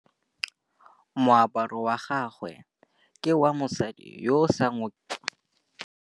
Moaparô wa gagwe ke wa mosadi yo o sa ngôkeng kgatlhegô.